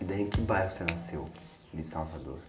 E daí em que bairro você nasceu, de?